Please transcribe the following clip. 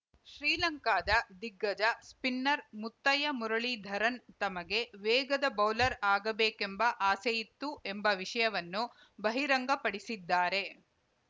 ಶ್ರೀಲಂಕಾದ ದಿಗ್ಗಜ ಸ್ಪಿನ್ನರ್‌ ಮುತ್ತಯ್ಯ ಮುರಳಿಧರನ್‌ ತಮಗೆ ವೇಗದ ಬೌಲರ್‌ ಆಗಬೇಕೆಂಬ ಆಸೆಯಿತ್ತು ಎಂಬ ವಿಷಯವನ್ನು ಬಹಿರಂಗ ಪಡಿಸಿದ್ದಾರೆ